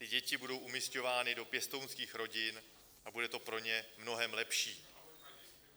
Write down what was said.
Ty děti budou umisťovány do pěstounských rodin a bude to pro ně mnohem lepší.